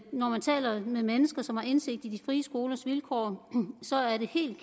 når man taler med mennesker som har indsigt i de frie skolers vilkår så er det helt